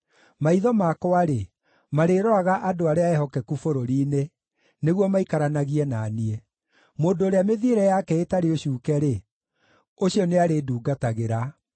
Maitho makwa-rĩ, marĩroraga andũ arĩa ehokeku bũrũri-inĩ, nĩguo maikaranagie na niĩ; mũndũ ũrĩa mĩthiĩre yake ĩtarĩ ũcuuke-rĩ, ũcio nĩarĩndungatagĩra.